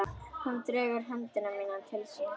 Hún dregur höndina til sín.